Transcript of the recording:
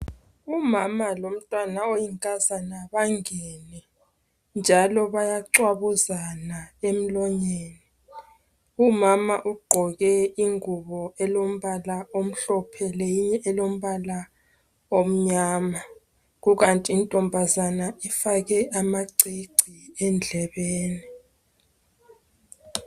Umama lomntwana oyinkazana bangene njalo bayacwabuzan emlonyeni. Umama ugqoke ingubo elombala omhlophe leyinye elombala omnyama kukanti intombazana ifake amacici endlebeni.